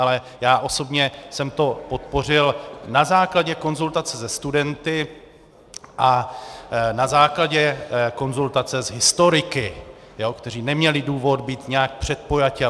Ale já osobně jsem to podpořil na základě konzultace se studenty a na základě konzultace s historiky, kteří neměli důvod být nějak předpojatí.